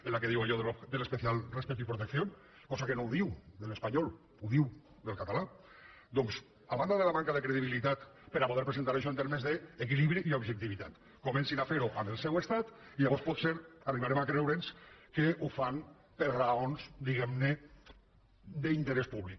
en què diu allò de l’ especial respeto y protección cosa que no ho diu de l’espanyol ho diu del català doncs a banda de la manca de credibilitat per a poder presentar això en termes d’equilibri i objectivitat comencin a fer ho en el seu estat i llavors potser arribarem a creure’ns que ho fan per raons diguem ne d’interès públic